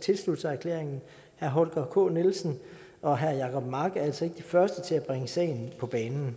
tilslutte sig erklæringen herre holger k nielsen og herre jacob mark er altså ikke de første til at bringe sagen på banen